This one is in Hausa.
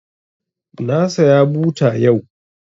Na saya buta yau